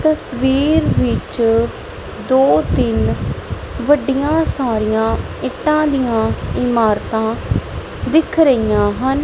ਤਸਵੀਰ ਵਿੱਚ ਦੋ ਤਿੰਨ ਵੱਡੀਆਂ ਸਾਰੀਆਂ ਇੱਟਾਂ ਦੀਆਂ ਇਮਾਰਤਾਂ ਦਿਖ ਰਹੀਆਂ ਹਨ।